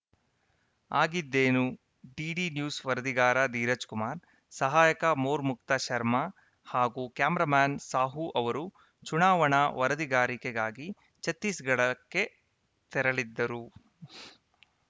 ಆಗಿದ್ದೇನು DD news ವರದಿಗಾರ ಧೀರಜ್‌ ಕುಮಾರ್‌ ಸಹಾಯಕ ಮೊರ್ಮುಕ್ತ ಶರ್ಮಾ ಹಾಗೂ ಕ್ಯಾಮೆರಾಮ್ಯಾನ್‌ ಸಾಹು ಅವರು ಚುನಾವಣಾ ವರದಿಗಾರಿಕೆಗಾಗಿ ಛತ್ತೀಸ್‌ಗಢಕ್ಕೆ ತೆರಳಿದ್ದರು